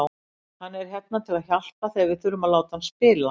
Hann er hérna til að hjálpa þegar við þurfum að láta hann spila.